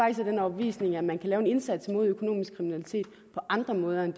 af den overbevisning at man kan lave en indsats mod økonomisk kriminalitet på andre måder end